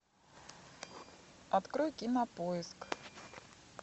открой кинопоиск